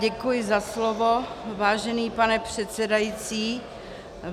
Děkuji za slovo, vážený pane předsedající.